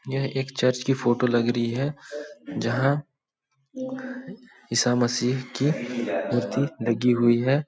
यह एक चर्च की फोटो लग रही है जहां ईसा मसीह की मूर्ति लगी हुई है।